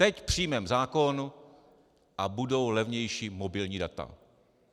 Teď přijmeme zákon a budou levnější mobilní data.